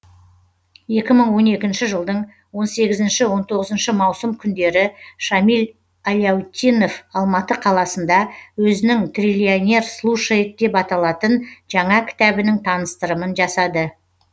екі мың он екінші жылдың он сегізінші он тоғызыншы маусым күндері шамиль аляутдинов алматы қаласында өзінің триллионер слушает деп аталатын жаңа кітабінің таныстырымын жасады